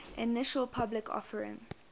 initial public offering